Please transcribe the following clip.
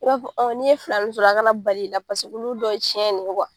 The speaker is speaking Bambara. U b'a fɔ n'i ye filani sɔrɔ a kana bali i la paseke ulu dɔ ye cɛn ne ye